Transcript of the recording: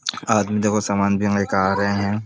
आदमी देखो समान भी रहे हैं।